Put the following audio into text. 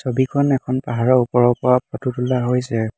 ছবিখন এখন পাহাৰৰ ওপৰৰ পৰা ফটো তোলা হৈছে।